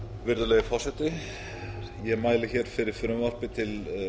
virðulegi forseti ég mæli hér fyrir frumvarpi til